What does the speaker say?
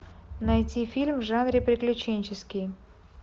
найти фильм в жанре приключенческий